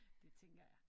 Det tænker jeg